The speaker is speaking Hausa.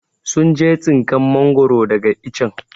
sun je tsinkan mangoro daga ichen.